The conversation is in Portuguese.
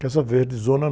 Casa Verde, Zona